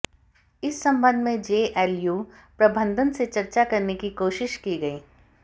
इस संबंध में जेएलयू प्रबंधन से चर्चा करने की कोशिश की गई